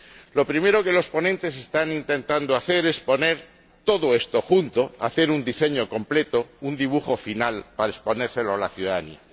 Lo primero que los ponentes están intentando hacer es juntar todo esto, hacer un diseño completo, un dibujo final, para exponérselo a la ciudadanía.